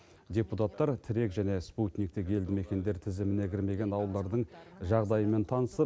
депутаттар тірек және спутниктік елді мекендер тізіміне кірмеген ауылдардың жағдайымен танысып